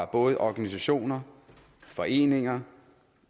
både af organisationer og foreninger